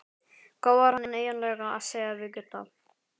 Hvað var hann eiginlega að segja við Gutta?